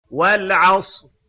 وَالْعَصْرِ